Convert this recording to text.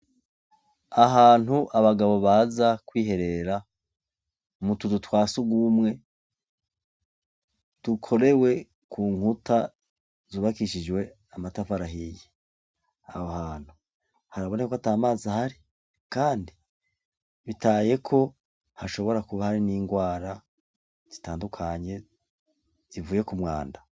Ahantu abagabo baza kwiherera mu tuzu twa sugumwe tukorewe ku nkuta zubakishijwe amatafari ahiye, aho hantu harabone ko atamazi ahari kandi bitaye ko hashobora kuba hari n'ingwara zitandukanye zivuye ku mwanda.